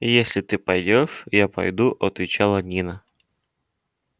если ты пойдёшь я пойду отвечала нина